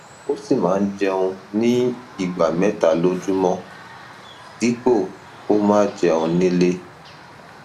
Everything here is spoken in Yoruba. ó sì máa ń jẹun ní ìgbà mẹta lójúmọ dípò kó máa jẹun nílé